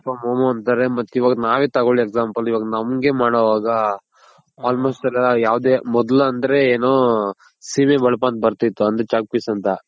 work from home ಅಂತಾರೆ ಮತ್ ಇವಾಗ ನಾವೇ ತಗೋಳಿ example ಇವಾಗ ನಾವೇ ಮಾಡೋವಾಗ almost ಎಲ್ಲ ಯಾವ್ದೆ ಮೊದಲ್ ಅಂದ್ರೆ ಏನು ಸಿಮೆ ಬಳಪ ಅಂತ ಬರ್ತಿತ್ತು ಅಂದ್ರೆ Chalk piece ಅಂತ.